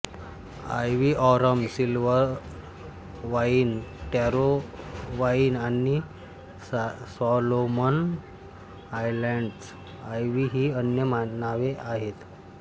ivy arum silver vine taro vine आणि Solomon Islands ivy ही अन्य नावे आहेत